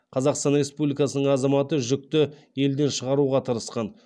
қазақстан республикасының азаматы жүкті елден шығаруға тырысқан